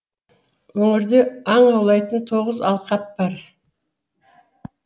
өңірде аң аулайтын тоғыз алқап бар